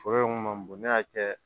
Foro in kun ma bon ne y'a kɛ